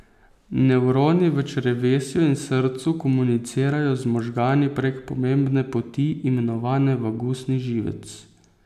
Nevroni v črevesju in srcu komunicirajo z možgani prek pomembne poti, imenovane vagusni živec.